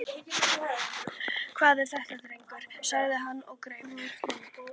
Hvað er þetta drengur? sagði hann og greip